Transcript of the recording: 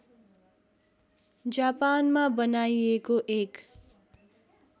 जापानमा बनाइएको एक